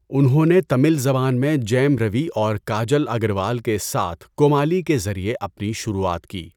انہوں نے تمل زبان میں جیَم روی اور کاجل اگروال کے ساتھ کومالی کے ذریعے اپنی شروعات کی۔